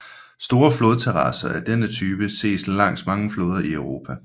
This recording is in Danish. Store flodterrasser af denne type ses langs mange floder i Mellemeuropa